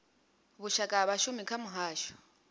vhushaka ha vhashumi kha muhasho